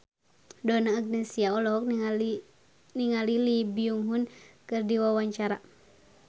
Donna Agnesia olohok ningali Lee Byung Hun keur diwawancara